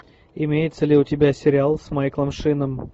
имеется ли у тебя сериал с майклом шином